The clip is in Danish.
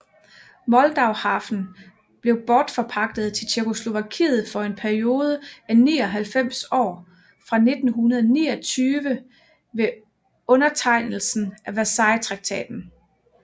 Moldauhafen blev bortforpagtet til Tjekkoslovakiet for en periode af 99 år fra 1929 ved undertegnelsen af Versaillestraktaten